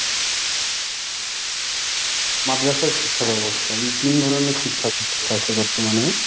মাদ্রাসা শিক্ষা ব্যবস্থা। এই তিন ধরনের শিক্ষাব্যবস্থা আছে বর্তমানে।